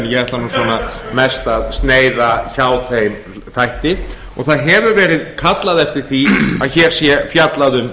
ég ætla svona mest að sneiða hjá þeim þætti það hefur verið kallað eftir því að hér sé fjallað um